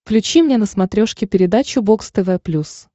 включи мне на смотрешке передачу бокс тв плюс